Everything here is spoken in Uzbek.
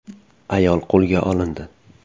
Ayol qo‘lga olindi.